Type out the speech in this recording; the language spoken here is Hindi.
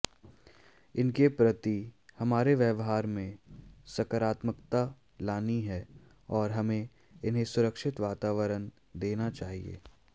इनके प्रति हमारे व्यवहार में सकारात्मकता लानी है और हमें इन्हें सुरक्षित वातावरण देना चाहिए